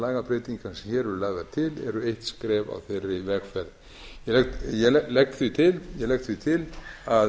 hér eru lagðar til eru eitt skref á þeirri vegferð ég legg því til að